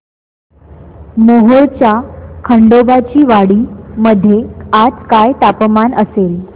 मोहोळच्या खंडोबाची वाडी मध्ये आज काय तापमान असेल